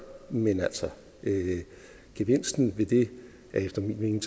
men gevinsten ved det er efter min